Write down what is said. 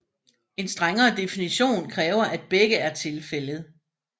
En strengere definition kræver at begge er tilfældet